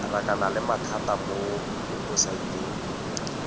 rakana le mathata mo webosaeteng